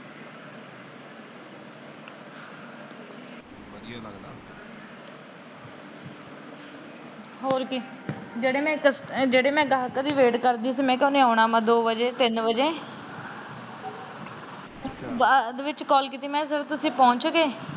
ਹੋਰ ਕਿ? ਜਿਹੜੇ ਗਾਹਕਾਂ ਦੀ ਵੇਟ ਕਰਦੀ ਸੀ ਮੈ। ਉਹਨਾਂ ਨੇ ਦੋ ਵਜੇ ਤਿੰਨ ਵਜੇ ਆਉਣਾ ਏ। ਕਲ ਕੀਤੀ ਮੈ ਕਿਹਾ ਸਰ ਤੁਸੀਂ ਪਹੁੰਚ ਗਏ।